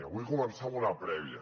vull començar amb una prèvia